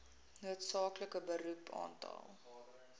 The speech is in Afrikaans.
noodsaaklike beroep aantal